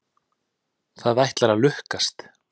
Það ætlar að lukkast.